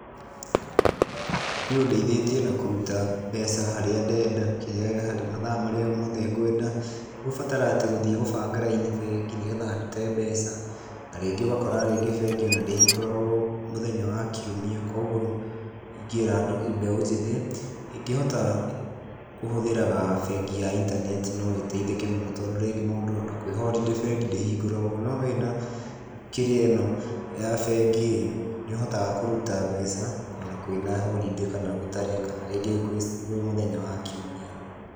Niĩ ũndeithĩtie na kũruta mbeca harĩa ndenda, matha marĩa mothe ngwenda. Tigũbatara atĩ gũthiĩ gũbanga raini bengi nĩgetha ndute mbeca, na rĩngĩ ũgakora tarĩngĩ bengĩ ndĩhingũragwo mũthenya wa kiumia. Koguo ingĩra andũ mbeũ njĩthĩ, ĩngĩhota kũhũthĩraga bengi ya intaneti noĩteithĩke mũno, tondũ ona kũĩ holiday bengi ndĩhingũragwo, no wĩna kĩrĩa ĩno ya bengi-rĩ, nĩũhotaga kũruta mbeca ona kwĩna holiday ona gũtarĩ, kana rĩngĩ kwĩ mũthenya wa kiumia.